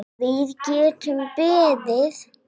Við getum beðið.